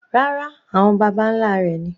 Rárá, àwọn baba nlá rẹ̀ ni.